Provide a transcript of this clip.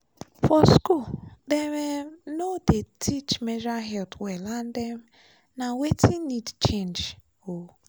for school dem um no dey teach menstrual health well and um na wetin need change. um